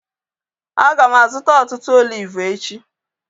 Aga m azụta ọtụtụ oliv echi